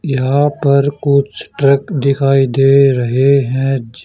यहां पर कुछ ट्रक दिखाई दे रहे हैं ज--